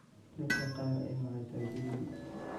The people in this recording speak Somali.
Dadka kaar eh wa tajirin.